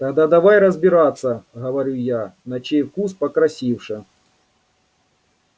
тогда давай разбираться говорю я на чей вкус покрасивше